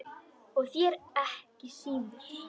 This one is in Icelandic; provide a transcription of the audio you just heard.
Og þér ekki síður